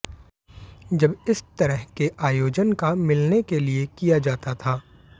जब इस तरह के आयोजन का मिलने के लिए किया जाता था